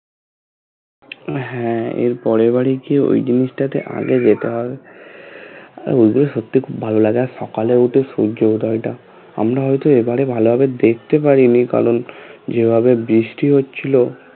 হ্যাঁ এর পরের বরে যিয়ে ওই জিনিসটাতে আগে যেতে হবে আর ওদের সত্যি খুব ভালো লাগার সকালে উঠে সূর্য উদয়টা আমরা ভেবেছি এবারে ভালোভাবে দেখতে পারিনি কারণ যেভাবে বৃষ্টি হচ্ছিলো